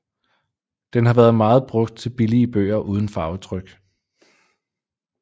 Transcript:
Den har været meget brugt til billige bøger uden farvetryk